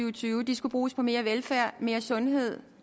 og tyve skulle bruges på mere velfærd mere sundhed